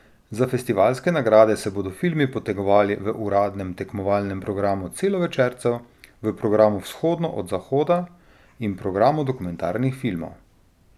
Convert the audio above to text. Za festivalske nagrade se bodo filmi potegovali v uradnem tekmovalnem programu celovečercev, v programu Vzhodno od zahoda in programu dokumentarnih filmov.